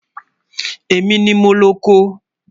Ẹ̀mi ni mó lọ̀kọ